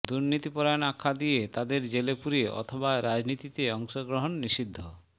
দুর্নীতিপরায়ণ আখ্যা দিয়ে তাদের জেলে পুরে অথবা রাজনীতিতে অংশগ্রহণ নিষিদ্ধ